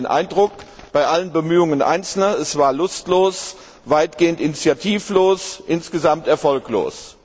Wir hatten den Eindruck, bei allen Bemühungen Einzelner, es war lustlos, weitgehend initiativlos, insgesamt erfolglos.